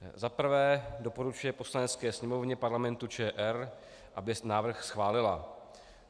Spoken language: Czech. Za prvé doporučuje Poslanecké sněmovně Parlamentu ČR, aby návrh schválila.